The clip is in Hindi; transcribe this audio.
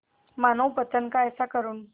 मानवपतन का ऐसा करुण